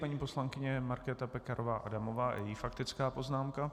Paní poslankyně Markéta Pekarová Adamová a její faktická poznámka.